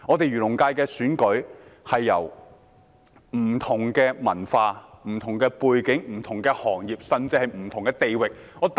漁農界的選舉涵蓋不同文化、背景和行業，甚至不同地域。